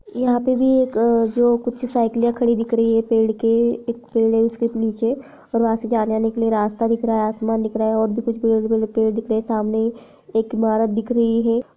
यहाॅं पे भी एक जो कुछ साईकिलें खड़ी दिख रही है पेड़ के एक पेड है उसके नीचे और वहाॅं से जाने-आने के लिए रास्ता दिख रहा है असमान दिख रहा है और भी कुछ दिख रहे है समने एक ईमारत दिख रही है।